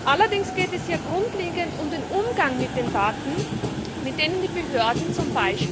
Allerdings geht es hier grundlegend um den Umgang mit den Daten, mit denen die Behörden z.